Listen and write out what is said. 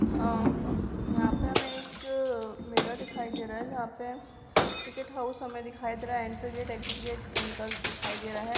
आ यहाँ पर हमें एक मेला दिखाई दे रहा है जहाँ पे टिकेट हाउस हमें दिखाई दे रहा है एंट्री गेट एक्जिट गेट निकल दिखाई दे रहा है।